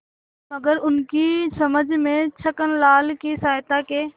मगर उनकी समझ में छक्कनलाल की सहायता के